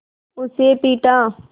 उसे पीटा